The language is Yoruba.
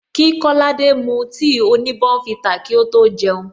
Kí kolade mu tea oni bournvita kí ó tó jeun